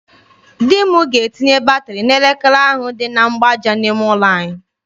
Di m ga-etinye batịrị n'elekere ahụ dị na mgbaaja n'ime ụlọ anyị.